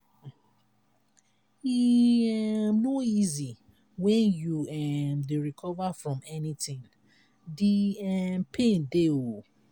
e um no dey easy wen you um dey recover from anything de um pain dey.